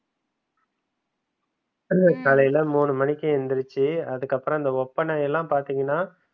காலையில மூணு மணிக்கு எந்திரிச்சு அதுக்கப்புறம் அந்த ஓப்பனை எல்லாம் பாத்திங்கனா